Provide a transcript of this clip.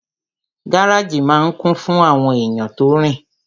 Gáràjì máa n kún fún àwọn èèyàn tó rin